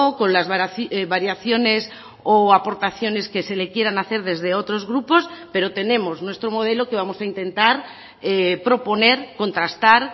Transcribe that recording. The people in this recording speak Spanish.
con las variaciones o aportaciones que se le quieran hacer desde otros grupos pero tenemos nuestro modelo que vamos a intentar proponer contrastar